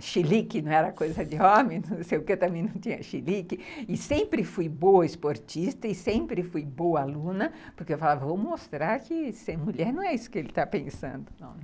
chilique não era coisa de homem, não sei o que, eu também não tinha chilique, e sempre fui boa esportista, e sempre fui boa aluna, porque eu falava, vou mostrar que ser mulher não é isso que ele está pensando, não, né?